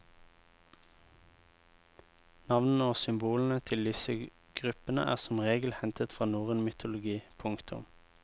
Navnene og symbolene til disse gruppene er som regel hentet fra norrøn mytologi. punktum